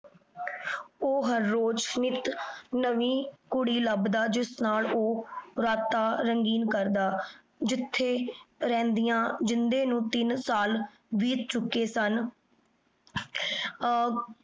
ਊ ਹਰ ਰੋਜ਼ ਨਿਤ ਨਵੀ ਕੁੜੀ ਲਬਦਾ ਜਿਸ ਨਾਲ ਊ ਰੱਟਣ ਰੰਗੀਨ ਕਰਦਾ ਜਿਥੇ ਰੇਹ੍ਨ੍ਦਿਯਾਂ ਜਿੰਦੇ ਨੂ ਤੀਨ ਸਾਲ ਬੀਤ ਚੁਕੇ ਸਨ ਆ